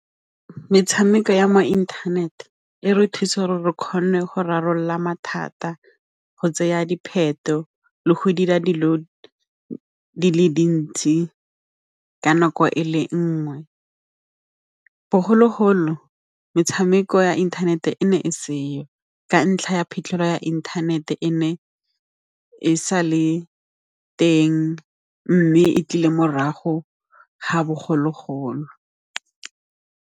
Metshameko ya mo internet-e, e re thusa gore re kgone go rarabolola mathata, go tseya dipheto le go dira dilo di le dintsi ka nako e le nngwe bogologolo metshameko ya internet-e ne e seo ka ntlha ya phitlhelelo ya inthanete e ne e sa le teng mme e tlile morago ga bogologolo.